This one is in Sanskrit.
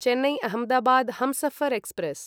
चेन्नै अहमदाबाद् हमसफर् एक्स्प्रेस्